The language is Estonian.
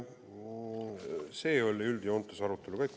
See oli üldjoontes arutelu käik.